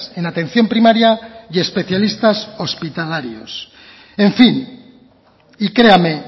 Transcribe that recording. en atención primaria y especialistas hospitalarios en fin y créame